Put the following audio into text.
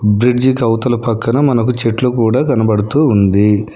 Bridge కవతల పక్కన మనకు చెట్లు కూడా కనబడుతూ ఉంది.